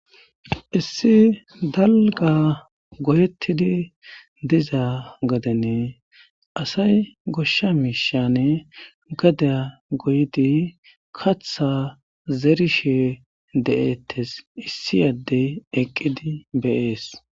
issi dalga goyettidi diza gadene asay goshsha mishane gadea goydi katha zerishe de7ettes issi yaddey eqqidi beyees